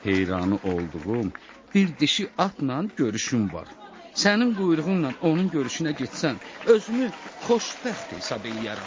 Heyranı olduğum bir dişi atla görüşüm var, sənin quyruğunla onun görüşünə getsəm, özümü xoşbəxt hesab eləyərəm.